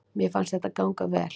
Mér fannst þetta ganga vel